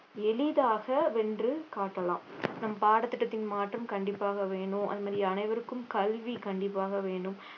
எளிதாக வென்று காட்டலாம் நம் பாடத்திட்டத்தின் மாற்றம் கண்டிப்பாக வேணும் அது மாதிரி அனைவருக்கும் கல்வி கண்டிப்பாக வேணும்